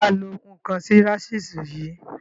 Ṣe wà á lo ǹnkan sí rasísú yìí?